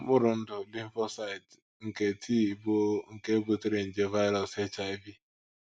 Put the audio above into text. Mkpụrụ ndụ “ lymphocyte ” nke T bụ́ nke butere nje “ virus ” HIV